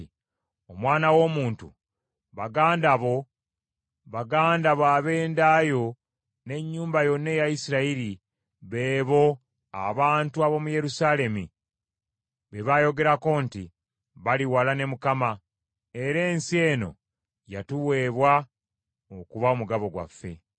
“Omwana w’omuntu, baganda bo, baganda bo ab’enda yo n’ennyumba yonna eya Isirayiri, beebo abantu ab’omu Yerusaalemi be baayogerako nti, ‘Bali wala ne Mukama , era ensi eno yatuweebwa okuba omugabo gwaffe.’ ”